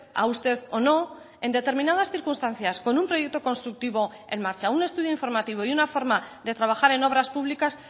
a usted o no en determinadas circunstancias con un proyecto constructivo en marcha un estudio informativo y una forma de trabajar en obras públicas